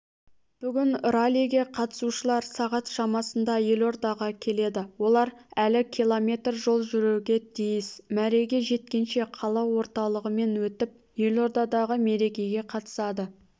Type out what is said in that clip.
бүгін раллиге қатысушылар сағат шамасында елордаға келеді олар әлі км жол жүруге тиіс мәреге жеткенше қала орталығымен өтіп елордадағы мерекеге қатысады